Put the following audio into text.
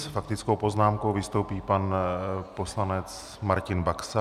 S faktickou poznámkou vystoupí pan poslanec Martin Baxa.